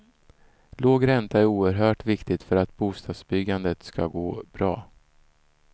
Låg ränta är oerhört viktigt för att bostadsbyggandet ska gå bra.